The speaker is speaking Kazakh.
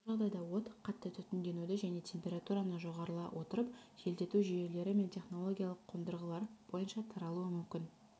бұл жағдайда от қатты түтінденуді және температураны жоғарыла отырып желдету жүйелері мен технологиялық қондырғылар бойынша таралуы мүмкін